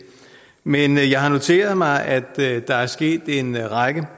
men jeg har noteret mig at der er sket en række